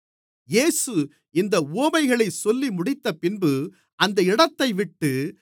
இயேசு இந்த உவமைகளைச் சொல்லிமுடித்தபின்பு அந்த இடத்தைவிட்டு